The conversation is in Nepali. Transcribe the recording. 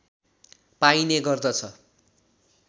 पाइने गर्दछ